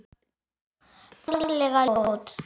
Ferlega ljót.